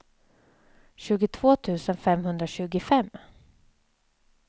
tjugotvå tusen femhundratjugofem